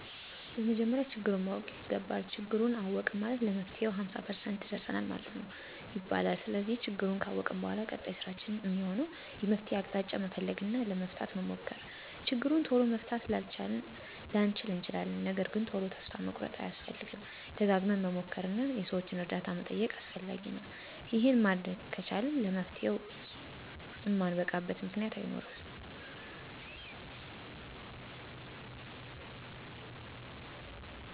በመጀመሪያ ችግሩን ማወቅ ይገባል። ችግሩን አወቅን ማለት ለመፍትሄው ሃምሳ ፐርሰንት ደርሰናል ማለት ነው ይባላል። ስለዚህ ችግሩን ካወቅን በኃላ ቀጣይ ስራችን እሚሆነው የመፍትሄ አቅጣጫ መፈለግ እና ለመፍታት መሞከር። ችግሩን ቶሎ መፍታት ላንችል እንችላለን ነገርግን ቶሎ ተስፋ መቁረጥ አያስፈልግም። ደጋግመን መሞከር እና የሠዎችን እርዳታ መጠየቅ አስፈላጊ ነው። ይሄን ማድረግ ከቻልን ለመፍትሄው እማንበቃበት ምክንያት አይኖርም።